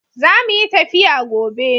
Zamuyi tafiya gobe